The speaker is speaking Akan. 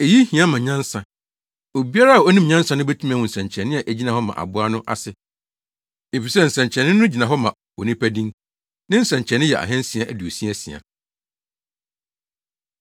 Eyi hia ma nyansa. Obiara a onim nyansa no betumi ahu nsɛnkyerɛnne a egyina hɔ ma aboa no ase, efisɛ nsɛnkyerɛnne no gyina hɔ ma onipa din. Ne nsɛnkyerɛnne yɛ ahansia aduosia asia.